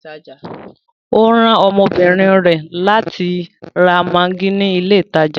Ọ ran ọmọbínrin rẹ látì rà maggi ni ilẹ̀ ìtajà.